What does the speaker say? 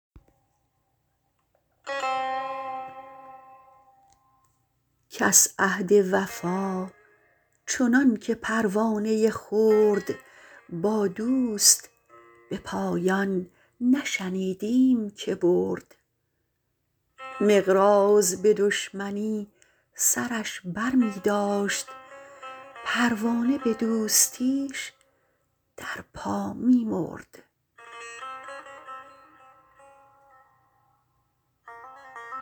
کس عهد وفا چنان که پروانه خرد با دوست به پایان نشنیدیم که برد مقراض به دشمنی سرش بر می داشت پروانه به دوستیش در پا می مرد